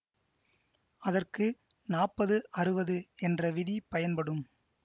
அதற்கு நாப்பது அறுவது என்ற விதி பயன்படும்